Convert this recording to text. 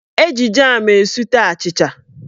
Eji jam esute achịcha.